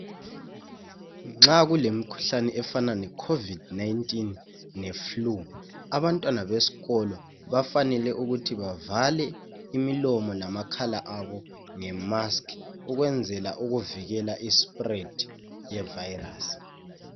Nxa kulemkhuhlane efana ne COVID 19 le flue, abantwana beskolo bafanele ukuthi bavale imilomo namakhala abo ngemask ukwenzela ukuvikela i spread ye virus.